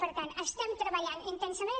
per tant estem treballant intensament